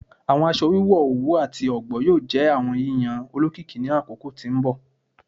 Awọn aṣọ wiwọ owu ati ọgbọ yoo jẹ awọn yiyan olokiki ni akoko ti n bọ